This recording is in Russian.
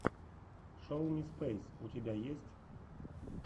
шоу ми спейс у тебя есть